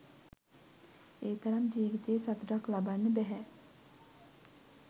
ඒ තරම් ජීවිතයේ සතුටක් ලබන්න බැහැ.